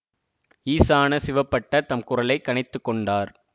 ஈசான சிவபட்டர் தம் குரலை கனைத்துக் கொண்டார்